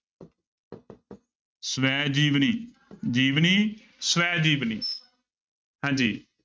ਸ੍ਵੈ ਜੀਵਨੀ, ਜੀਵਨੀ ਸ੍ਵੈ ਜੀਵਨੀ ਹਾਂਜੀ।